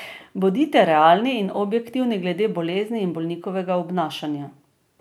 Bodite realni in objektivni glede bolezni in bolnikovega obnašanja.